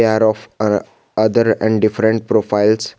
pair of era other and different profiles.